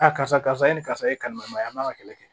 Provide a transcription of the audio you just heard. Aa karisa e ni karisa ye kalima ye a man ka kɛlɛ kɛ